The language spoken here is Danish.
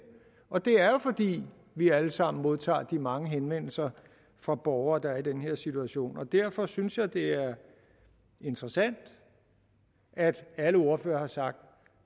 og det er jo fordi vi alle sammen modtager de mange henvendelser fra borgere der er i den her situation derfor synes jeg det er interessant at alle ordførere har sagt